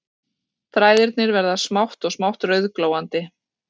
Þræðirnir verða smátt og smátt rauðglóandi